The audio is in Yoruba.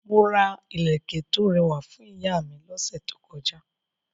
Mo ra ilẹ̀kẹ̀ tó rẹwà fún ìyá mi lọ́sẹ̀ tó kọjá.